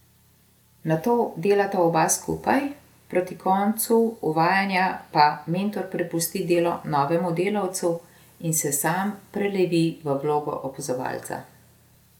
Nato delata oba skupaj, proti koncu uvajanja pa mentor prepusti delo novemu delavcu in se sam prelevi v vlogo opazovalca.